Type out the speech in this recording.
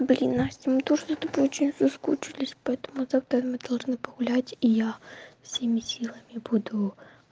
блин настя мы тоже за тобой очень соскучились поэтому завтра мы должны погулять и я всеми силами буду